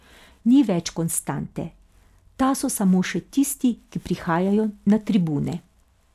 Ni več konstante, ta so samo še tisti, ki prihajajo na tribune.